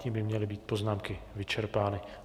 Tím by měly být poznámky vyčerpány.